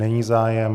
Není zájem.